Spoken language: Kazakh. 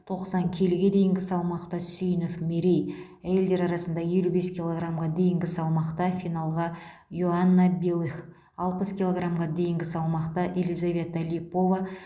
тоқсан келіге дейінгі салмақта сүйінов мерей әйелдер арасында елу бес килограмға дейінгі салмақта финалға иоанна белых алпыс килограмға дейінгі салмақта елизавета липова